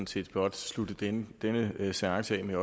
set blot slutte denne seance af med